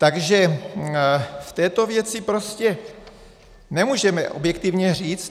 Takže v této věci prostě nemůžeme objektivně říct.